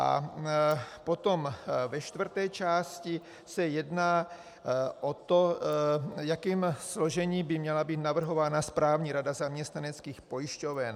A potom ve čtvrté části se jedná o to, jakým složením by měla být navrhována správní rada zaměstnaneckých pojišťoven.